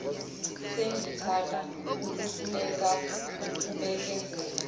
sengithanda ukuhluleka wukubekezela